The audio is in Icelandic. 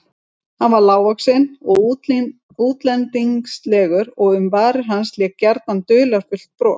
Hann var lágvaxinn og útlendingslegur og um varir hans lék gjarnan dularfullt bros.